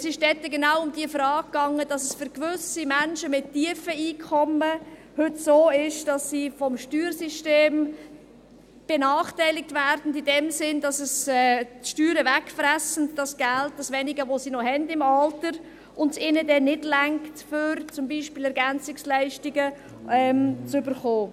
Es ging dabei genau um die Frage, dass es für gewisse Menschen mit tiefen Einkommen heute so ist, dass sie vom Steuersystem benachteiligt werden, in dem Sinne, dass die Steuern das wenige Geld, das sie im Alter noch haben, wegfressen, und es ihnen nicht reicht, um zum Beispiel Ergänzungsleistungen (EL) zu erhalten.